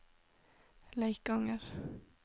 Leikanger